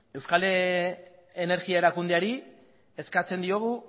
euskal energiari erakundeari eskatzen diogu